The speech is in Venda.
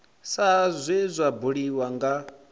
sa zwe zwa buliwa nga